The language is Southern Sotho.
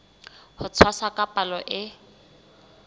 ho tshwasa ka palo e